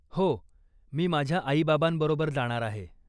हो, मी माझ्या आई बाबांबरोबर जाणार आहे.